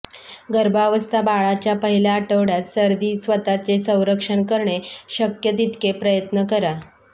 गर्भावस्था बाळाच्या पहिल्या आठवड्यात सर्दी स्वतःचे संरक्षण करणे शक्य तितकी प्रयत्न करा